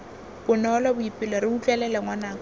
bonolo boipelo re utlwelele ngwanaka